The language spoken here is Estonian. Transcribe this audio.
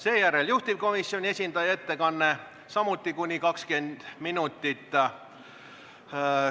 Seejärel on juhtivkomisjoni esindaja ettekanne samuti kuni 20 minutit.